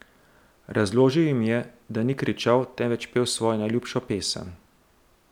Razložil jim je, da ni kričal, temveč pel svojo najljubšo pesem.